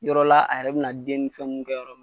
Yɔrɔ la a yɛrɛ bina den ni fɛnw kɛ yɔrɔ min na